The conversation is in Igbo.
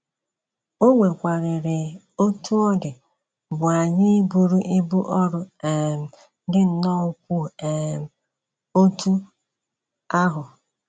O nwekwararị otú ọ dị bụ́ anyị iburu ibu ọrụ um dị nnọọ ukwuu um otú ahụ.